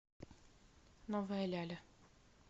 новая ляля